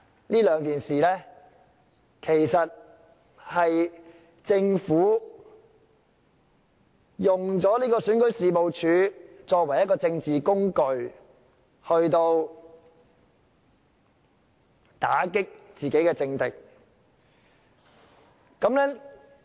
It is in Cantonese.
其實，從這兩種情況可見，政府是利用選舉事務處作為政治工具，以打擊自己的政敵。